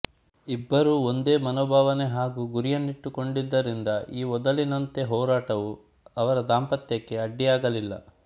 ಇಬ್ಬರು ಒಂದೇ ಮನೋಭಾವನೆ ಹಾಗೂ ಗುರಿಯನ್ನಿಟ್ಟುಕೊಂಡಿದ್ದರಿಂದ ಈ ವೊದಲಿನಂತೆ ಹೋರಾಟವು ಅವರ ದಾಂಪತ್ಯಕ್ಕೆ ಅಡ್ಡಿಯಾಗಲಿಲ್ಲ